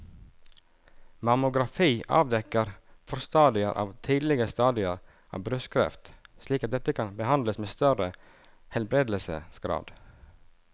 Mammografi avdekker forstadier eller tidlige stadier av brystkreft slik at dette kan behandles med større helbredelsesgrad.